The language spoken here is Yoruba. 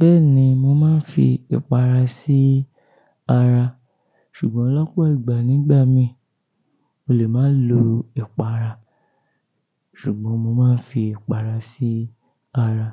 Bẹ́ẹ̀ni, mo máa ń fi ẹ̀pàrà sí ara, ṣùgbọ́n lọ́pọ̀ ìgbà nígbà mi, mo lè máa lo ẹ̀pàrà, ṣùgbọ́n mo máa ń fi ẹ̀pàrà sí ara.